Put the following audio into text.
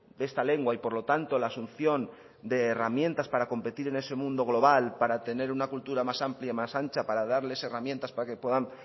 de esta lengua y por lo tanto la asunción de herramientas para competir en ese mundo global para tener una cultura más amplia más ancha para darles herramientas para que puedan